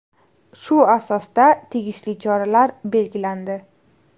Shu asosda tegishli choralar belgilandi.